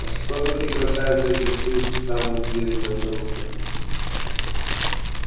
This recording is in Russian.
а что же ты красавица интересуется самая въедливая старушка